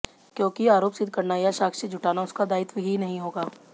क्योंकि आरोप सिद्ध करना या साक्ष्य जुटाना उसका दायित्व ही नहीं होगा